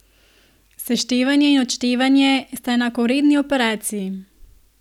Seštevanje in odštevanje sta enakovredni operaciji.